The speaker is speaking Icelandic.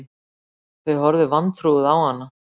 Þau horfðu vantrúuð á hana